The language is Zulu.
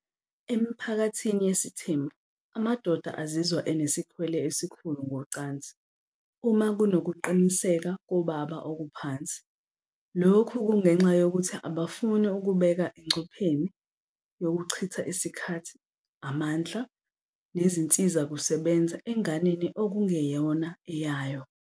Emiphakathini yesithembu, amadoda azizwa enesikhwele esikhulu ngocansi uma kunokuqiniseka kobaba okuphansi. Lokhu kungenxa yokuthi abafuni ukubeka engcupheni yokuchitha isikhathi, amandla nezinsizakusebenza enganeni okungeyona eyayo.